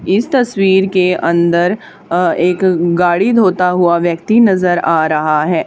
इस तस्वीर के अंदर अह एक गाड़ी धोता हुआ व्यक्ति नजर आ रहा है।